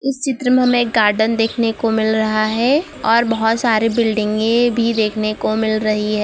इस चित्र में हमें एक गार्डन देखने को मिल रहा हैं और बहोत सारे बिल्डिंगे भीं देखनो को मिल रहीं हैं।